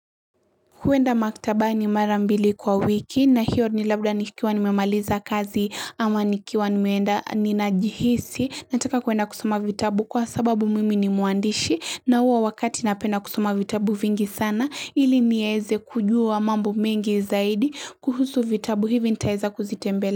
Huenda maktabani mara mbili kwa wiki na hiyo ni labda nikiwa nimemaliza kazi ama nikiwa nimeenda ninajihisi Nataka kuenda kusoma vitabu kwa sababu mimi ni mwandishi na huo wakati napenda kusoma vitabu vingi sana ili nieze kujua mambo mengi zaidi kuhusu vitabu hivi nitaeza kuzitembele.